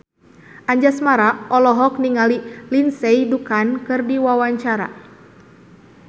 Anjasmara olohok ningali Lindsay Ducan keur diwawancara